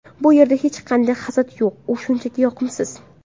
Bu yerda hech qanday hasad yo‘q, u shunchaki yoqimsiz.